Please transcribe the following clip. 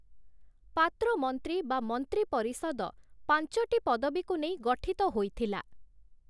ପାତ୍ର ମନ୍ତ୍ରୀ ବା ମନ୍ତ୍ରୀ ପରିଷଦ ପାଞ୍ଚଟି ପଦବୀକୁ ନେଇ ଗଠିତ ହୋଇଥିଲା ।